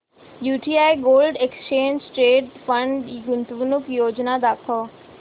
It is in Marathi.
UTI gold exchange traded fund गुंतवणूक योजना दाखव